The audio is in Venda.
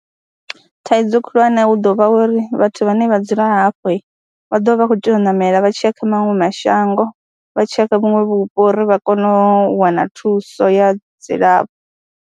Thaidzo khulwane hu ḓo vha uri vhathu vhane vha dzula hafho vha ḓovha vha khou tea u ṋamela vha tshiy a kha maṅwe mashango, vha tshi ya kha vhuṅwe vhupo uri vha kone u wana thuso ya dzilafho.